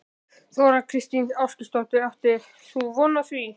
Þóra Kristín Ásgeirsdóttir: Áttir þú von á því?